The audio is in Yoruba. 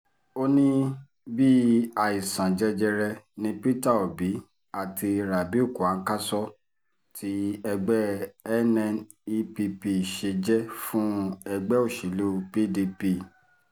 ó ní bíi àìsàn jẹjẹrẹ ni peter obi àti rabiu kwanso tí ẹgbẹ́ nnepp ṣe jẹ́ fún ẹgbẹ́ òṣèlú pdp